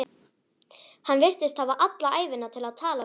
Hann virtist hafa alla ævina til að tala við þá.